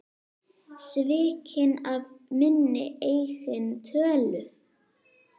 Svikinn af minni eigin tölu.